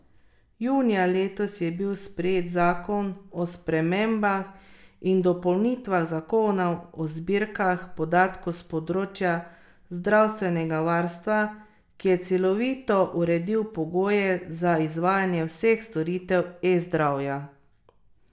Junija letos je bil sprejet zakon o spremembah in dopolnitvah zakona o zbirkah podatkov s področja zdravstvenega varstva, ki je celovito uredil pogoje za izvajanje vseh storitev eZdravja.